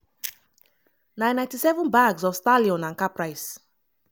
na 97 bags of stallion and caprice